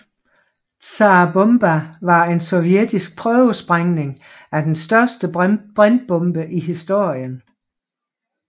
Tsar Bomba var en sovjetisk prøvesprængning af den største brintbombe i historien